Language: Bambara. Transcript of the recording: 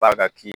Ba ka ki